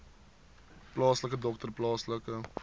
plaaslike dokter plaaslike